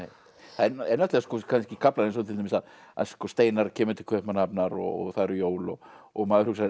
það eru kannski kaflar eins og til dæmis að Steinar kemur til Kaupmannahafnar og það eru jól og maður hugsar